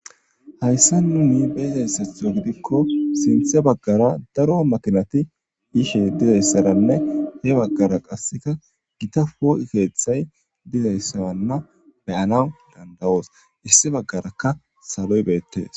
Hayssa nuni beezayssetho gidikko sinthe baggara daro makinati yishe dizayssaranne he baggara qasseka gita poo keeththay dizayssaranna beyana dandawoos issi baggarakka saloy beettees.